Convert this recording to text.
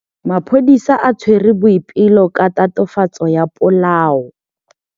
Maphodisa a tshwere Boipelo ka tatofatsô ya polaô.